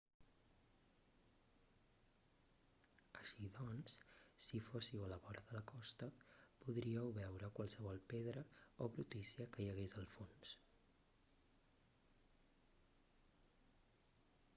així doncs si fóssiu a la vora de la costa podríeu veure qualsevol pedra o brutícia que hi hagués al fons